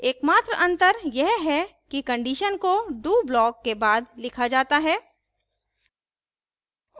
एकमात्र अंतर यह है कि condition को do block के बाद लिखा जाता है